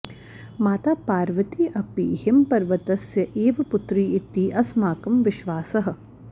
माता पार्वती अपि हिमपर्वतस्य एव पुत्री इति अस्माकं विश्वासः